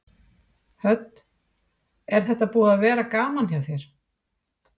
Hödd: Er þetta búið að vera gaman hjá þér?